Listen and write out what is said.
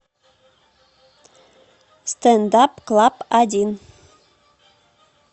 стэнд ап клаб один